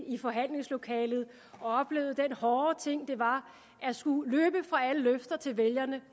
i forhandlingslokalet og oplevede den hårde ting det var at skulle løbe fra alle løfter til vælgerne